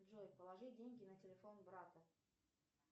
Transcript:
джой положи деньги на телефон брата